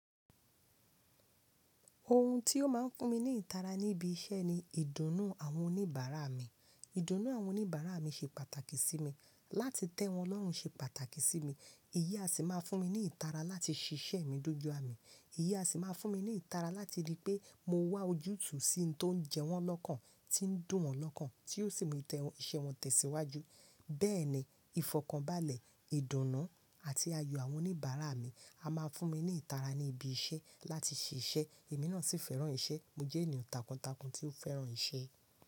Ohùn tí ó máa ń fún mí ní ìtárá ní ibí iṣẹ́ níí ìdùnnú àwọn oníbàárà mí. Ìdùnnú àwọn òníbàárà mí ṣè pàtàkì sí mi, látí tẹ́ wọn lọ́rùn ṣè pàtàkì sí mí. Iyí á sì máa fún mí ní ìtárá látí ṣiṣẹ́ mí dójú ámí. Iyí á sì máa fún mí ní ìtárá látí rí pé mò wá ojútùú sí ohùn tó ń jẹ wọ́n lọ́kàn, tí ń dùn wọ́n lọ́kàn, tí yóò sì mú iṣẹ́ wọn tẹ̀síwájú. Bẹ́ẹ̀ ni, ìfọ̀kànbalẹ̀, ìdùnnú àti ayọ̀ àwọn oníbàárà mi a máa fún mi ní ìtara ní ibi iṣẹ́ láti ṣiṣẹ́. Èmi náà sì fẹ́ràn iṣẹ́. Mó jẹ́ ènìyàn tákùntákùn tí ó fẹ́ràn iṣẹ́